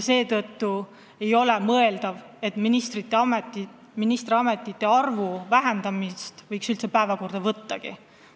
Seetõttu ei ole nagu mõeldav ministrite arvu vähendamist üldse arutusele võttagi.